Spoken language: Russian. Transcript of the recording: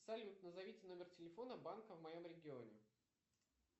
салют назовите номер телефона банка в моем регионе